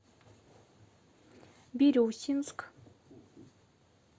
бирюсинск